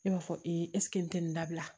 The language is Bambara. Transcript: Ne b'a fɔ n tɛ nin dabila